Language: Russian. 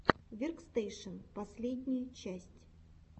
веркстэшен последняя часть